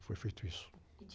foi feito isso.